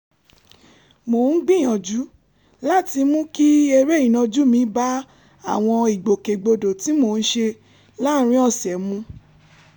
mò ń gbìyànjú láti mú kí eré ìnàjú mi bá àwọn ìgbòkègbodò tí mò ń ṣe láàárín ọ̀sẹ̀ mu